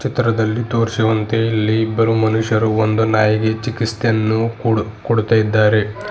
ಚಿತ್ರದಲ್ಲಿ ತೋರಿಸಿರುವಂತೆ ಇಲ್ಲಿ ಇಬ್ಬರು ಮನುಷ್ಯರು ಒಂದು ನಾಯಿಗೆ ಚಿಕಿತ್ಸೆಯನ್ನು ಕೊಡು ಕೊಡ್ತಾ ಇದ್ದಾರೆ.